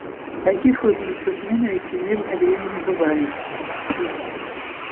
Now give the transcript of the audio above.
таких выплесков ненависти в мирное время не бывает